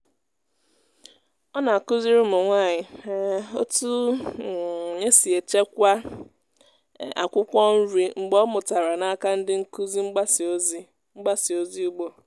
ọ na-akụzi ụmụ nwanyị um otu um esi echekwa um akwụkwọ nri mgbe ọ mụtara n'aka ndị nkuzi mgbasa ozi mgbasa ozi ugbo.